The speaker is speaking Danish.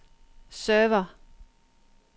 server